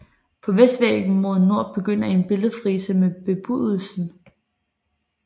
På vestvæggen mod nord begynder en billedfrise med Bebudelsen